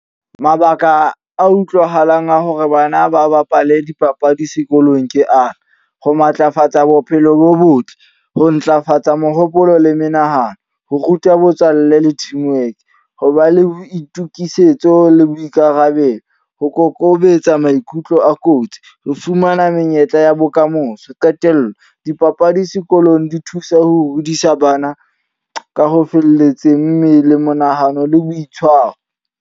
Mabaka a utlwahalang a hore bana ba bapale dipapadi sekolong ke ana, ho matlafatsa bophelo bo botle, ho ntlafatsa mohopolo le menahano, ho ruta botswalle le teamwork, ho ba le boitukisetso le boikarabelo, ho kokobetsa maikutlo a kotsi, ho fumana menyetla ya bokamoso. Qetello, dipapadi sekolong di thusa ho hodisa bana ka ho felletseng, mmele, monahano le boitshwaro.